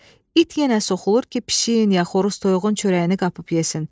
İt yenə soxulur ki, pişiyin ya xoruz toyuğun çörəyini qapıb yesin.